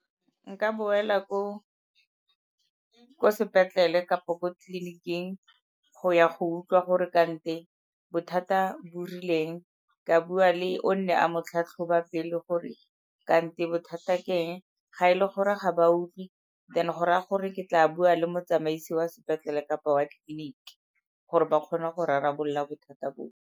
Nka boela ko sepetlele kapo ko tleliniking go ya go utlwa gore kante bothata bo rileng ka bua le o ne a mo tlhatlhoba pele gore kante bothata ke eng. Ga e le gore ga ba utlwe then go raya gore ke tla bua le motsamaisi wa sepetlele kapa wa clinic-e, gore ba kgone go rarabolola bothata bo.